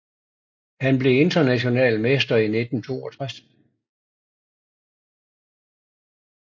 Han blev international mester i 1962